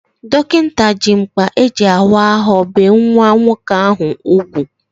Dọkịta ji mkpa eji awa ahụ bee nwa nwoke ahụ ugwu